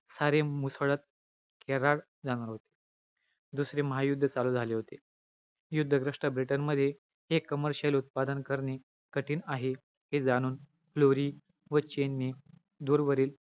रस धातू वाढलातर कफ दोष वाढतो. धातूंचा क्षय झाल्यास सदाशित दोषांची ही क्षय होतो. मात्र हा नियम मांस धातू आणि आस्थी धातूला लागू पडत नाही .